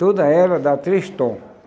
Toda ela dá três tom.